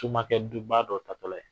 Tumakɛ duba dɔ tatɔla ye